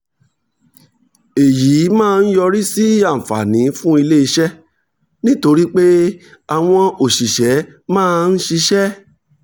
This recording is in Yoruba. èyí máa ń yọrí sí àǹfààní fún ilé iṣẹ́ nítorí pé àwọn òṣìṣẹ́ máa ń ṣiṣẹ́